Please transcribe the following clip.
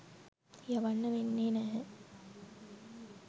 යවන්න වෙන්නේ නැහැ.